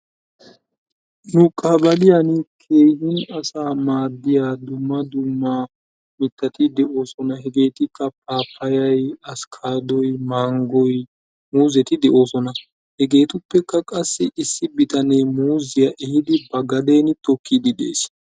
nu qabaliyani keehin asaa maadiya dumma dumma mitati de'oosona hegeetikka paapayay, askaadoy manggoy muuzzeti de'oosona. hegeetuppekka qassi issi bitanee muuziya ehiidi ba gaden tokiidi de'ees.